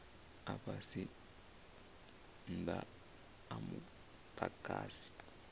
a fhasi maanda a mudagasi